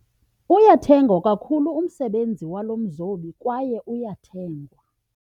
Uyathengwa kakhulu umsebenzi walo mzobi kwaye uyathengwa.